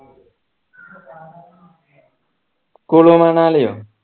Kullu മണാലിയോ